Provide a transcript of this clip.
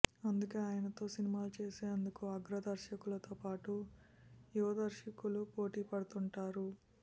అందుకే ఆయనతో సినిమాలు చేసేందుకు అగ్ర దర్శకులతో పాటు యువ దర్శకులు పోటీ పడుతుంటారు